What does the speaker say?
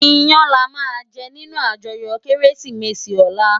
Iyän làmá jè ninú àjòyò Kérésimési òlá